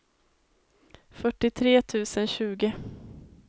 fyrtiotre tusen tjugo